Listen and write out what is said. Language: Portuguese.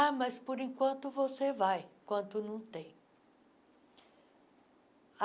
Ah, mas por enquanto você vai, enquanto não tem.